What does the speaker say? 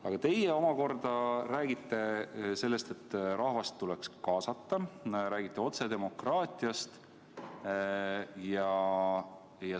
Aga teie omakorda räägite sellest, et rahvast tuleks kaasata, räägite otsedemokraatiast.